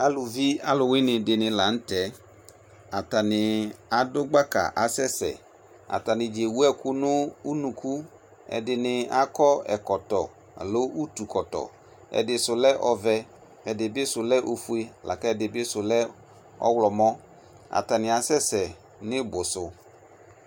Aluvi alu wane de ne lantɛAtane ado gbaka asɛsɛAtane dza ewu ɛku no unukuƐde ne akɔ ɛkɔtɔ alo utu kɔtɔƐde so lɛ ɔvɛ, ɛde ne so lɛ ofue la kɛde be so lɛ ɔwlɔmɔAtane asɛsɛ ne ibu so